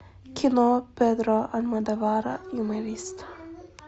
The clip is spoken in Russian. кино педро альмодовара юморист